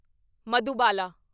Madhubala